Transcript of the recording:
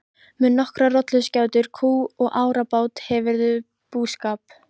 Með nokkrar rolluskjátur, kú og árabát hefurðu búskap.